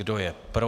Kdo je pro?